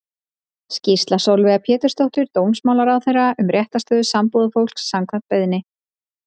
Skýrsla Sólveigar Pétursdóttur dómsmálaráðherra um réttarstöðu sambúðarfólks, samkvæmt beiðni.